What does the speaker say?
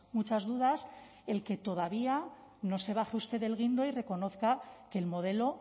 muchas dudas el que todavía no se baje usted del guindo y reconozca que el modelo